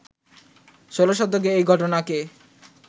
ষোল শতকেই এই ঘটনাকে